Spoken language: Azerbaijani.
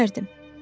Ölərdim.